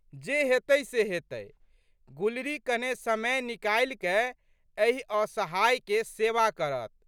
जे हेतै से हेतै। गुलरी कने समय निकालिकए एहि असहायके सेवा करत।